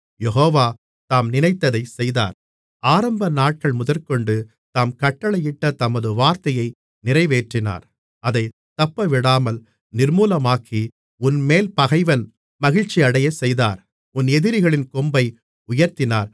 யெகோவா தாம் நினைத்ததைச் செய்தார் ஆரம்பநாட்கள் முதற்கொண்டு தாம் கட்டளையிட்ட தமது வார்த்தையை நிறைவேற்றினார் அவர் தப்பவிடாமல் நிர்மூலமாக்கி உன்மேல் பகைவன் மகிழ்ச்சியடையச் செய்தார் உன் எதிரிகளின் கொம்பை உயர்த்தினார்